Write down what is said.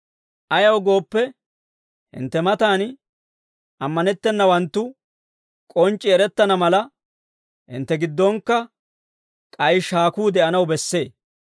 Ayaw gooppe, hintte matan ammanetteedawanttu k'onc'c'i erettana mala, hintte giddonkka k'ay shaakuu de'anaw bessee.